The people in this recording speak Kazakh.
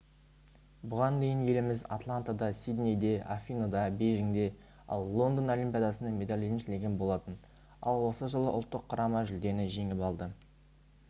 бұған дейін еліміз атлантада сиднейде афиныда бейжіңде ал лондон олимпиадасында медаль еншілеген болатын ал осы жолы ұлттық құрама жүлдені жеңіп алды